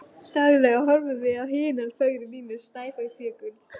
Daglega horfum við á hinar fögru línur Snæfellsjökuls